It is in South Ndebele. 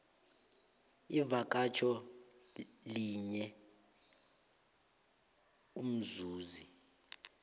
ivakatjho linye umzuzi